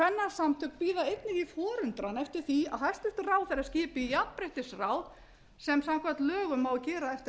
kvennasamtök bíða einnig í forundran eftir því að hæstvirtur ráðherra skipi jafnréttisráðsem samkvæmt á að gera eftir